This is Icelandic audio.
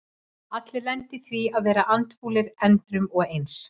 Allir lenda í því að vera andfúlir endrum og eins.